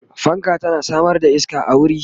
fanka tana Samar da iska a wuri